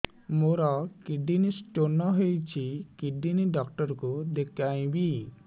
ମୋର kidney stone ହେଇଛି kidney doctor କୁ ଦେଖାଇବି